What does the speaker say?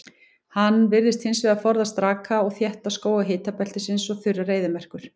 Hann virðist hins vegar forðast raka og þétta skóga hitabeltisins og þurrar eyðimerkur.